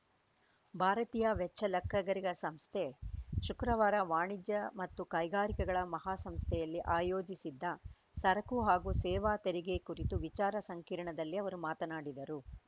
ಭಾರತೀಯ ವೆಚ್ಚ ಲೆಕ್ಕಿಗರ ಸಂಸ್ಥೆ ಶುಕ್ರವಾರ ಕರ್ನಾಟಕ ವಾಣಿಜ್ಯ ಮತ್ತು ಕೈಗಾರಿಕೆಗಳ ಮಹಾಸಂಸ್ಥೆಯಲ್ಲಿ ಆಯೋಜಿಸಿದ್ದ ಸರಕು ಹಾಗೂ ಸೇವಾ ತೆರಿಗೆ ಕುರಿತು ವಿಚಾರ ಸಂಕಿರಣದಲ್ಲಿ ಅವರು ಮಾತನಾಡಿದರು